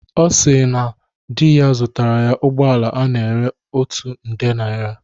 Ọ si na di ya zụtara ya ụgbọala a na-ere otu nde naira